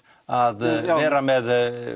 að vera með